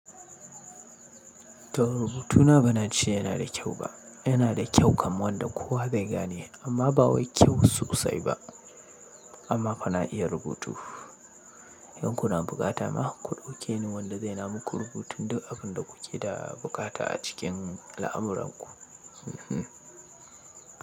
To rubutuna ba na ce yana da kyau ba, yana da kyau kamar wanda kowa zai gane amma ba wai kyau sosai ba amma fa na iya rubutu. In kuna buƙata ma ku ɗauke ni wanda zai na muku rubutun duk abun da kuke da buƙata a cikin al'amuranku.